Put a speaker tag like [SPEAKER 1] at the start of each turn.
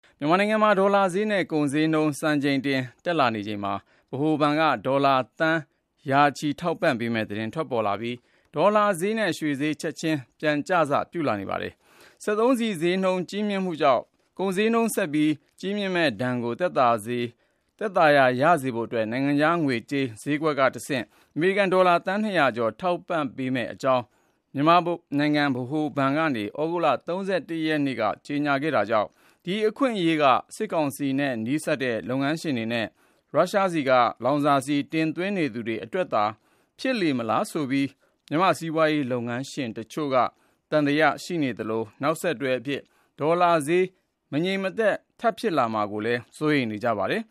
[SPEAKER 1] မြန်မာနိုင်ငံမှာ ဒေါ်လာဈေးနဲ့ ကုန်ဈေးနှုန်း စံချိန်တင် တက်လာချိန်မှာ ဗဟိုဘဏ်က ဒေါ်လာသန်း ရာချီ ထောက်ပံ့ပေးမယ့် သတင်း ထွက်လာပြီး ဒေါ်လာဈေးနဲ့ ရွှေဈေး ချက်ချင်း ပြန်ကျစ ပြုလာပါတယ်။ စက်သုံးဆီဈေးနှုန်း ကြီးမြင့်မှုကြောင့် ကုန်ဈေးနှုန်း ကြီးမြင့်မှုဒဏ်ကို သက်သာရာရစေဖို့ နိုင်ငံခြားငွေကြေးဈေးကွက်ကတဆင့် အမေရိကန်ဒေါ်လာ သန်း ၂၀၀ ကျော် ထောက်ပံ့ပေးမယ့်အကြောင်း မြန်မာနိုင်ငံ ဗဟိုဘဏ်က သြဂုတ်လ ၃၁ ရက်နေ့က ကြေညာခဲ့တာကြောင့် ဒါဟာ စစ်ကောင်စီနဲ့ နီးစပ်သူ လုပ်ငန်းရှင်တွေနဲ့ ရုရှားဆီက လောင်စာဆီ တင်သွင်းရေးအတွက်သာ ဖြစ်လေမလားလို့လည်း တချို့က သံသယ ရှိနေပြီး နောက်ဆက်တွဲ ဒေါ်လာဈေး မတည်မငြိမ် ဆက် ဖြစ်လာမှာကို စိုးရိမ်နေကြပါတယ်